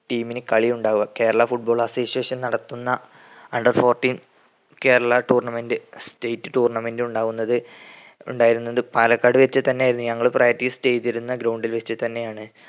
team ന് കളി ഉണ്ടാവുക. കേരള foot ball association നടത്തുന്ന under fourteen Kerala tournament state tournament ഉണ്ടാവുന്നത് ഉണ്ടായിരുന്നത് പാലക്കാട് വെച് തന്നെയായിരുന്നു. ഞങ്ങള് practice ചെയ്തിരുന്ന ground ൽ വെച്ച് തന്നെയാണ്